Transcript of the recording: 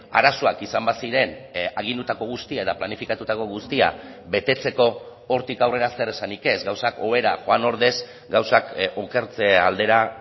arazoak izan baziren agindutako guztia eta planifikatutako guztia betetzeko hortik aurrera zer esanik ez gauzak hobera joan ordez gauzak okertze aldera